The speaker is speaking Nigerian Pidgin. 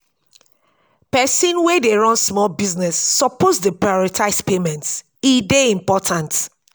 pesin wey dey run small business suppose dey prioritize payments e dey important.